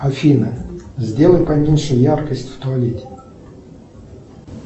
афина сделай поменьше яркость в туалете